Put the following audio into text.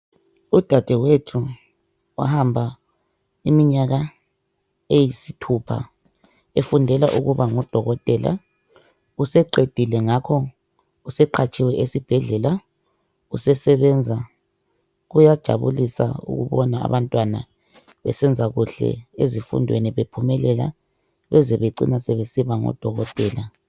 Udadewethu wahamba iminyaka eyisithupha efundela ukuba ngudokotela. Useqedile ngakho useqhatshiwe esibhedlela usesebenza. Kuyajabulisa ukubona abantwana besenza kuhle ezifundweni bephumelela beze becina sebesiba ngodokotela.